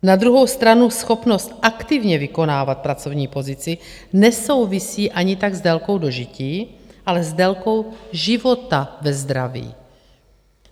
Na druhou stranu schopnost aktivně vykonávat pracovní pozici nesouvisí ani tak s délkou dožití, ale s délkou života ve zdraví.